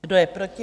Kdo je proti?